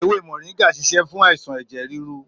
Èwè mọringà ṣisẹ fun àisàn ẹjẹ riru